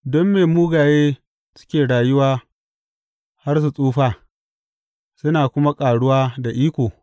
Don me mugaye suke rayuwa har su tsufa, suna kuma ƙaruwa da iko?